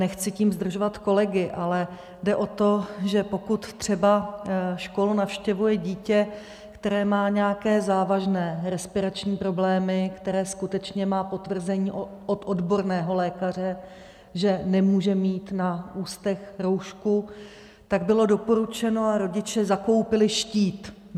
Nechci tím zdržovat kolegy, ale jde o to, že pokud třeba školu navštěvuje dítě, které má nějaké závažné respirační problémy, které skutečně má potvrzení od odborného lékaře, že nemůže mít na ústech roušku, tak bylo doporučeno a rodiče zakoupili štít.